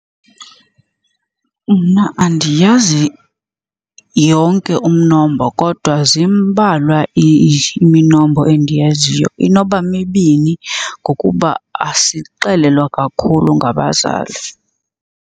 Mna andiyazi yonke umnombo kodwa zimbalwa iminombo endiyaziyo, inoba mibini ngokuba asixelelwa kakhulu ngabazali.